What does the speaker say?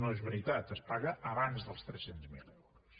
no és veritat es paga abans dels tres cents miler euros